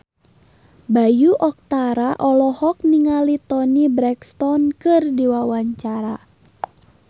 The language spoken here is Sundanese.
Bayu Octara olohok ningali Toni Brexton keur diwawancara